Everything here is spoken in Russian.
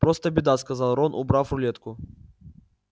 просто беда сказал рон убрав рулетку